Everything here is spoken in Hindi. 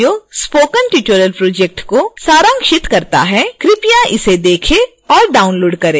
यह वीडियो स्पोकन ट्यूटोरियल प्रोजेक्ट को सारांशित करता है कृपया इसे देखें और डाउनलोड करें